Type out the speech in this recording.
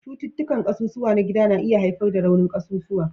Cututtukan ƙasusuwa na gida na iya haifar da raunin ƙasusuwa